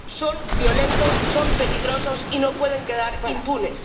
son violentos, son peligrosos y no pueden quedar impunes.